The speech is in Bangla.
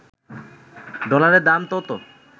ডলারের দাম তত